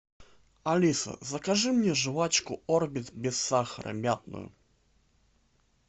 алиса закажи мне жвачку орбит без сахара мятную